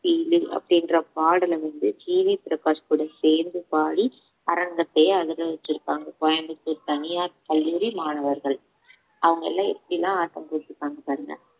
feel லு அப்படின்ற பாடலை வந்து ஜி வி பிரகாஷ் கூட சேர்ந்து பாடி அரங்கத்தை அதிர வச்சிருக்காங்க கோயம்புத்தூர் தனியார் கல்லூரி மாணவர்கள் அவங்க எல்லாம் எப்படி எல்லாம் ஆட்டம் போட்டிருக்காங்க பாருங்க